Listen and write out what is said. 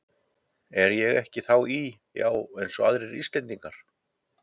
Er ég ekki þá í, já eins og aðrir Íslendingar?